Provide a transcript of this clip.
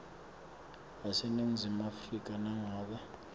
yaseningizimu afrika nangabe